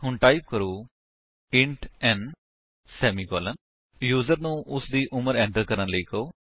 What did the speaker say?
ਹੁਣ ਟਾਈਪ ਕਰੋ int n semicolon user ਨੂੰ ਉਸਦੀ ਉਮਰ ਐਟਰ ਕਰਣ ਲਈ ਕਹੋ